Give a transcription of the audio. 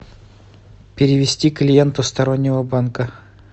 перевести клиенту стороннего банка